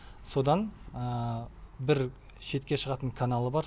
содан бір шетке шығатын каналы бар